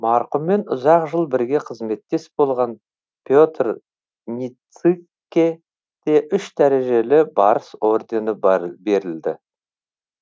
марқұммен ұзақ жыл бірге қызметтес болған петр ницыкке де үш дәрежелі барыс ордені берілді